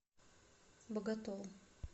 боготол